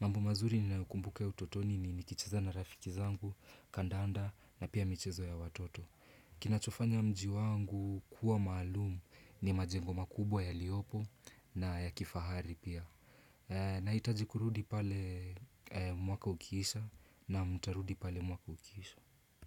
Mambo mazuri ninayokumbuka ya utotoni ni nikicheza na rafiki zangu, kandanda na pia michezo ya watoto. Kinachofanya mji wangu kuwa maalum, ni majengo makubwa yaliyopo, na ya kifahari pia. E Naitaji kurudi pale e mwaka ukisha na mtarudi pale mwaka ukiisha.